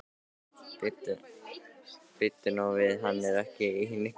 Bíddu nú við, hann er ekki í neinni vinnu?